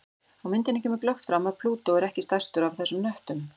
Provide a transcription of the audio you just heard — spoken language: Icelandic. Á myndinni kemur glöggt fram að Plútó er ekki stærstur af þessum hnöttum.